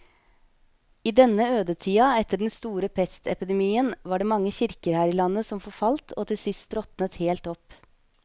I denne ødetida etter den store pestepidemien var det mange kirker her i landet som forfalt og til sist råtnet helt opp.